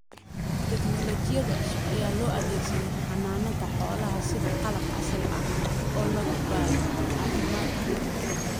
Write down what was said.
Tignoolajiyada cusub ayaa loo adeegsadaa xanaanada xoolaha, sida qalab casri ah oo lagu baadho caafimaadka xoolaha.